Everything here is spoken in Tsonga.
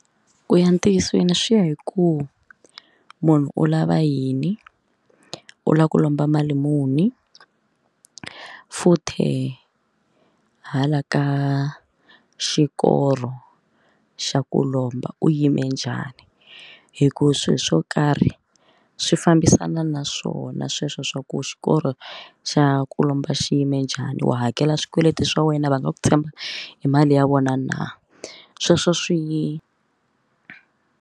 Ku ya ntiyisweni swi ya hi ku munhu u lava yini u lava ku lomba mali muni futhe hala ka xikoro xa ku lomba u yime njhani hikuva swilo swo karhi swi fambisana na swona sweswo swa ku xikolo xa ku lomba xiyime njhani wo hakela swikweleti swa wena va nga ku tshemba hi mali ya vona na sweswo swi .